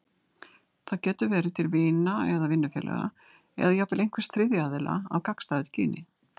Það getur verið til vina eða vinnufélaga, eða jafnvel einhvers þriðja aðila af gagnstæðu kyni.